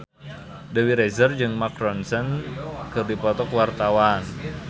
Dewi Rezer jeung Mark Ronson keur dipoto ku wartawan